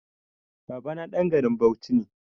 Babana ɗan garin Bauchi ne.